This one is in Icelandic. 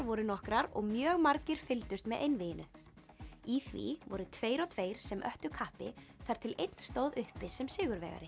voru nokkrar og mjög margir fylgdust með einvíginu í því voru tveir og tveir sem öttu kappi þar til einn stóð uppi sem sigurvegari